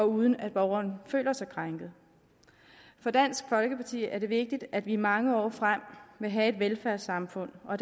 uden at borgeren føler sig krænket for dansk folkeparti er det vigtigt at vi i mange år frem vil have et velfærdssamfund og